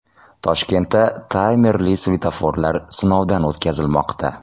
Toshkentda taymerli svetoforlar sinovdan o‘tkazilmoqda.